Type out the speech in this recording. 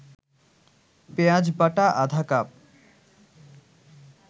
পেঁয়াজবাটা আধা কাপ